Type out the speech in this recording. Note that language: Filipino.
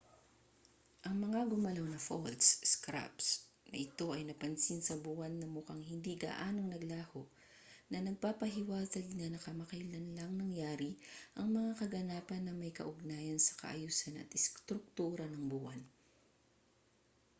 ang mga gumalaw na faults scarps na ito ay napansin sa buwan at mukhang hindi gaanong naglaho na nagpapahiwatig na kamakailan lang nangyari ang mga kaganapan na may kaugnayan sa kaayusan at istruktura ng buwan